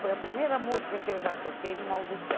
Foi a primeira música que eu já toquei em uma audição.